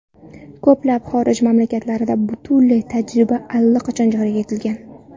Ko‘plab xorij mamlakatlarida bunday tajriba allaqachon joriy etilgan.